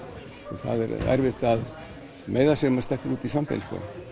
það er erfitt að meiða sig ef maður stekkur út í svampinn